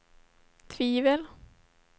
tvivel